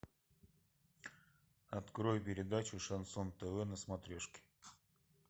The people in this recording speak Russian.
открой передачу шансон тв на смотрешке